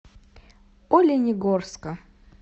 оленегорска